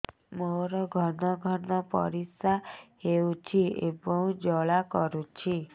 ମୋର ଘନ ଘନ ପରିଶ୍ରା ହେଉଛି ଏବଂ ଜ୍ୱାଳା କରୁଛି